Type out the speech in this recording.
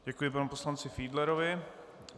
Děkuji panu poslanci Fiedlerovi.